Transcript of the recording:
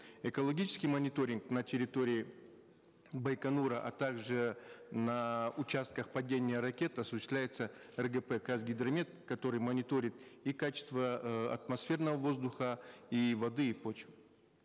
экологический мониторинг на территории байконура а также на участках падения ракет осуществляется ргп казгидромет который мониторит и качество э атмосферного воздуха и воды и почвы